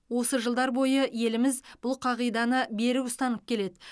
осы жылдар бойы еліміз бұл қағиданы берік ұстанып келеді